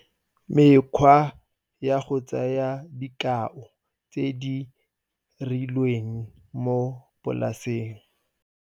Mekgwa ya go tsaya dikao tse di rileng mo polaseng.